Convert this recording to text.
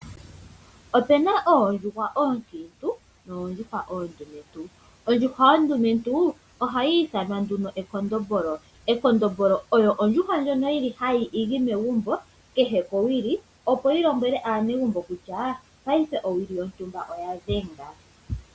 Opena oondjuhwa oonkiintu noondjuhwa oondumentu, ondjuhwa ondumentu ohayi ithanwa nduno ekondombolo ekondombolo olyo ondjuhwa ndjono yili hayi igi megumbo kehe kowili opo yi lombwele aanegumbo kutya paife owili yontumba oya dhenga.